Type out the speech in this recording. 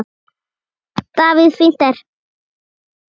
Davíð Fínt er.